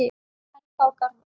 Helga og Garðar.